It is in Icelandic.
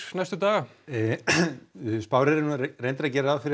næstu daga spáin er að gera ráð fyrir